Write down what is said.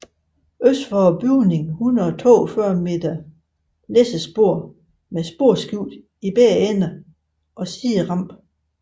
Øst for bygningen 142 m læssespor med sporskifte i begge ender og siderampe